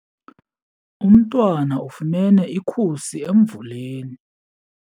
Umntwana ufumene ikhusi emvuleni.